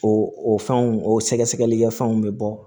O o fɛnw o sɛgɛsɛgɛli kɛ fɛnw bɛ bɔ